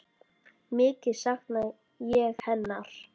Mikið sakna ég hennar.